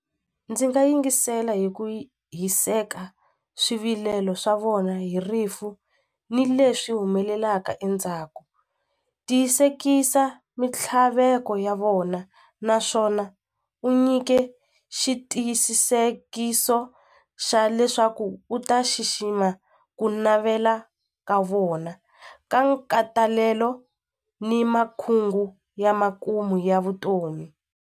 Ndzi nga yingisela hi ku hiseka swivilelo swa vona hi rifu ni leswi humelelaka endzhaku tiyisekisa mintlhaveko ya vona naswona u nyike xitiyisisekiso xa leswaku u ta xixima ku navela ka vona ka nkatalelo ni makhungu ya makumu ya vutomi.